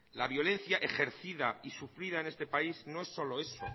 la violencia ejercida y sufrida en este país no es solo eso